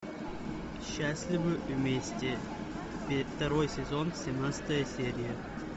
счастливы вместе второй сезон семнадцатая серия